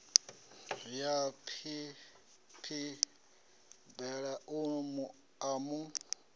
ya phiphiḓi bele a mu